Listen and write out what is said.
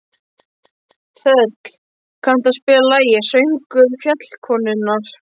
Þöll, kanntu að spila lagið „Söngur fjallkonunnar“?